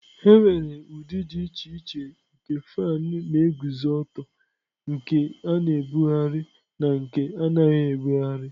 Enwere ụdị dị iche iche nke fan na-eguzo ọtọ, nke a na-ebugharị na nke anaghị ebugharị.